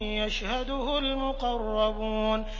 يَشْهَدُهُ الْمُقَرَّبُونَ